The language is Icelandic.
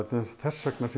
þess vegna sem